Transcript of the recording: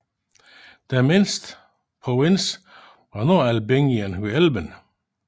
Den mindste provins var Nordalbingien ved Elben